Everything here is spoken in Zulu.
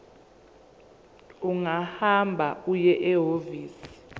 ungahamba uye ehhovisi